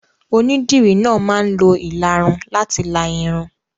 Onídìrí náà máa ń lo ìlarun láti la irun.